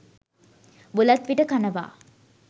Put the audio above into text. බුලත් විට කනවා.